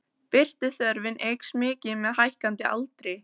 Birtuþörfin eykst mikið með hækkandi aldri.